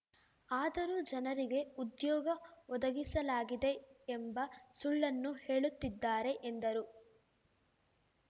ಆದರೂ ಜನರಿಗೆ ಉದ್ಯೋಗ ಒದಗಿಸಲಾಗಿದೆ ಎಂಬ ಸುಳ್ಳನ್ನು ಹೇಳುತ್ತಿದ್ದಾರೆ ಎಂದರು